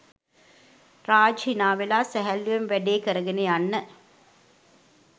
රාජ් හිනාවෙලා සැහැල්ලුවෙන් වැඩේ කරගෙන යන්න